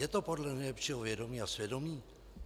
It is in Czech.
Je to podle nejlepšího vědomí a svědomí?